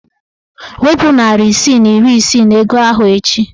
Wepu narị isii na iri isii n'ego ahụ echi!